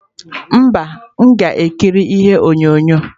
Mba, m ga-ekiri ihe onyonyo.